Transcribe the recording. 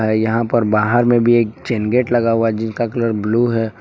यहां पर बाहर में भी एक चैन गेट लगा हुआ जिनका कलर ब्लू है।